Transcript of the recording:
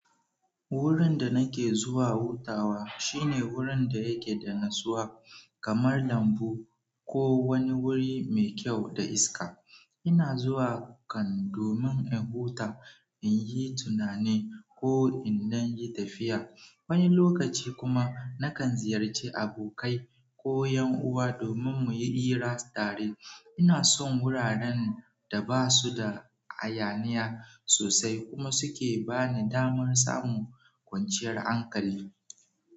Wurin da nake zuwa hutawa shine wurin da yake da natsuwa kamar lambu ko wani wuri mai kyau da iska. Ina zuwa kan domin in huta, in yi tunani ko indan yi tafiya. Wani lokaci kuma nakan ziyarci abokai ko yan'uwa domin muti ira tare ina son wuraren da basu da hayaniya sosai kuma suke bani damar samun kwanciyar hankali.